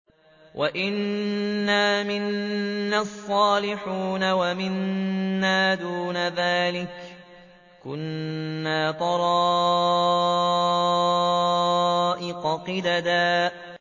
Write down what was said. وَأَنَّا مِنَّا الصَّالِحُونَ وَمِنَّا دُونَ ذَٰلِكَ ۖ كُنَّا طَرَائِقَ قِدَدًا